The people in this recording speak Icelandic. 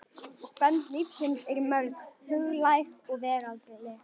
Og bönd lífsins eru mörg, huglæg og veraldleg.